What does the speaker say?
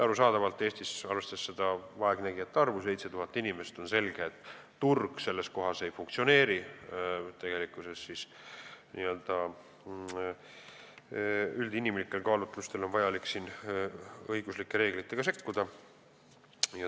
Arusaadavalt, arvestades vaegnägijate arvu, 7000 inimest, Eestis turg ei funktsioneeri ning üldinimlikel kaalutlustel on vaja siin õiguslike reeglitega sekkuda.